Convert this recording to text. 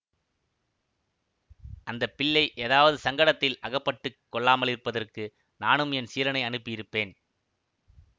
அந்த பிள்ளை ஏதாவது சங்கடத்தில் அகப்பட்டு கொள்ளாமலிருப்பதற்கு நானும் என் சீடனை அனுப்பி இருப்பேன்